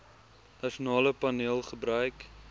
nasionale paneel gebruik